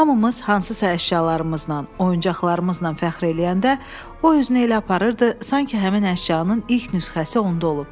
Hamımız hansısa əşyalarımızla, oyuncaqlarımızla fəxr eləyəndə o özünü elə aparırdı, sanki həmin əşyanın ilk nüsxəsi onda olub.